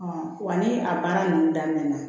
wa ni a baara ninnu daminɛna